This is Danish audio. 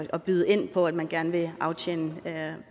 at byde ind på at man gerne vil aftjene